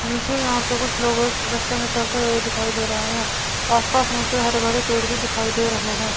मुझे यहां पे कुछ लोगों रस्ते में चलते हुए दिखाई दे रहे हैं आसपास मुझे हरे भरे पेड़ भी दिखाई दे रहे हैं।